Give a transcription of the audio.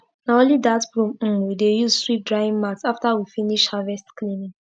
na only that broom um we dey use sweep drying mat after we finish harvest cleaning